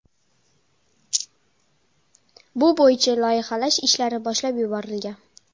Bu bo‘yicha loyihalash ishlari boshlab yuborilgan.